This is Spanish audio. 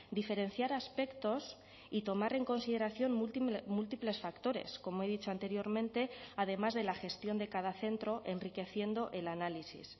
diferenciar aspectos y tomar en consideración múltiples factores como he dicho anteriormente además de la gestión de cada centro enriqueciendo el análisis